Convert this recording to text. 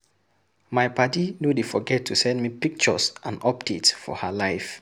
My paddy no dey forget to send me pictures and updates for her life.